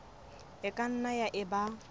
e ka nnang ya eba